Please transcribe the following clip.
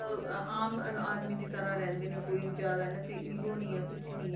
ਅਹ ਆਮ ਆਦਮੀ ਦੀ ਤਰ੍ਹਾਂ ਰਹਿੰਦੇ ਨੇ ਕੋਈ ਵੀ ਜ਼ਿਆਦਾ ਇੰਨਾ 'ਚ ego ਨੀ ਹੈ ਕੁਛ ਨੀ ਹੈ,